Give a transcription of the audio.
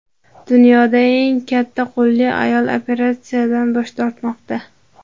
Dunyoda eng katta qo‘lli ayol operatsiyadan bosh tortmoqda.